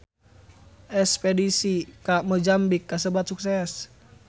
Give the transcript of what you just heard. Espedisi ka Mozambik kasebat sukses